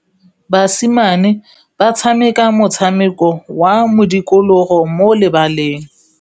Basimane ba tshameka motshameko wa modikologô mo lebaleng.